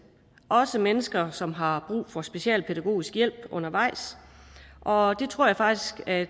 også mennesker som har brug for specialpædagogisk hjælp undervejs og det tror jeg faktisk at